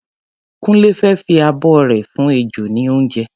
Kúnlé fẹ́ fi abọ́ rẹ̀ fún ejò ní oúnjẹ.